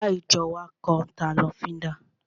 Ará ìjọ wa kan n ta lọ́fíndà